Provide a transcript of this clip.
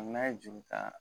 N'a ye juru ta